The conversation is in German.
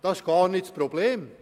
Das ist nicht das Problem.